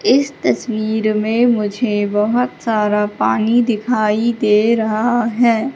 इस तस्वीर में मुझे बहोत सारा पानी दिखाई दे रहा है।